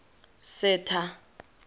setha